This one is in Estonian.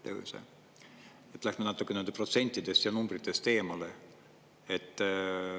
Ja üldse, lähme natukene nendest protsentides ja numbritest eemale.